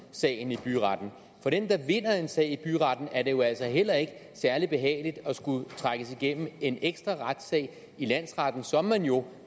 sagen i byretten for den der vinder en sag i byretten er det jo altså heller ikke særlig behageligt at skulle trækkes igennem en ekstra retssag i landsretten som man jo